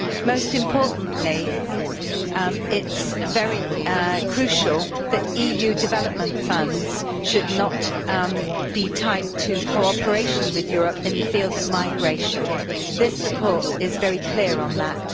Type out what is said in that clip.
Most importantly, it is crucial that EU development funds should not be tied to cooperation with Europe in the field of migration this report is very clear on that.